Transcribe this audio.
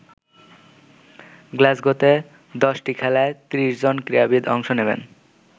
গ্লাসগোতে দশটি খেলায় ৩০ জন ক্রীড়াবিদ অংশ নেবেন।